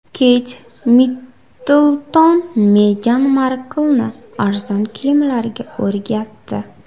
Keyt Middlton Megan Marklni arzon kiyimlarga o‘rgatdi.